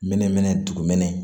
Mɛnɛmɛnɛ dugumɛnɛ